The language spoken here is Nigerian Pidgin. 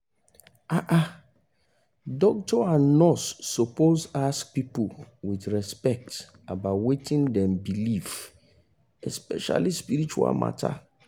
ah ah doctor and nurse suppose ask people with respect about wetin dem believe especially spiritual mata